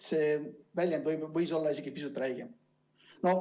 See väljend võis olla isegi pisut räigem.